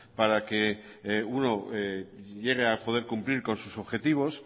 para que uno llegue a poder cumplir con sus objetivos